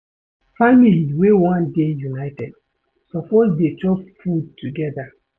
Family wey wan dey united suppose dey chop food togeda.